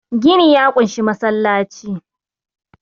gini ya kunshi masallaci